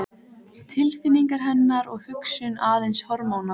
Tilfinningar hennar og hugsun aðeins hormónar?